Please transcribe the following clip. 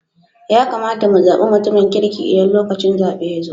Ya kamata mu zabi mutumin kirki Idan lokacin zaben ya zo.